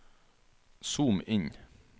zoom inn